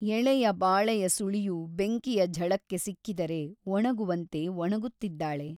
ಎಳೆಯ ಬಾಳೆಯ ಸುಳಿಯು ಬೆಂಕಿಯ ಝಳಕ್ಕೆ ಸಿಕ್ಕಿದರೆ ಒಣಗುವಂತೆ ಒಣಗುತ್ತಿದ್ದಾಳೆ.